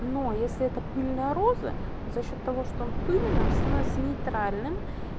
но если это пыльная роза то за счёт того что он пыльный становится нейтральным